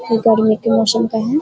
ये गर्मी के मौसम का है।